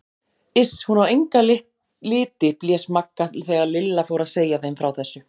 Iss, hún á enga liti blés Magga þegar Lilla fór að segja þeim frá þessu.